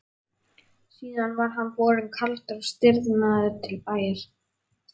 Síðan var hann borinn kaldur og stirðnaður til bæjar.